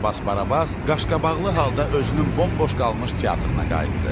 Karabas Barabas qaşqabaqlı halda özünün bomboş qalmış teatrına qayıtdı.